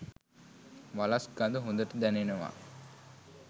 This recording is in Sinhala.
වලස් ගඳ හොඳට දැනෙනවා.